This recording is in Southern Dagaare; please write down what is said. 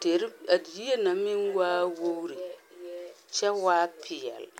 Deri a yie na meŋ waa wogiri kyɛ waa peɛle.